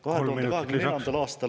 Kolm minutit lisaks.